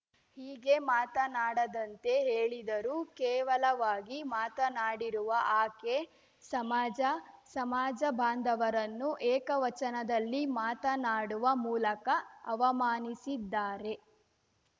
ಹೀಗೆ ಮಾತನಾಡದಂತೆ ಹೇಳಿದರೂ ಕೇವಲವಾಗಿ ಮಾತನಾಡಿರುವ ಆಕೆ ಸಮಾಜ ಸಮಾಜ ಬಾಂಧವರನ್ನು ಏಕವಚನದಲ್ಲಿ ಮಾತನಾಡುವ ಮೂಲಕ ಅವಮಾನಿಸಿದ್ದಾರೆ